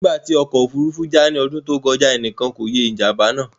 Nígbà tí ọkọ̀ òfurufú já ní ọdún tó kọjá, ẹnìkan kò ye ìjàm̀bá náà.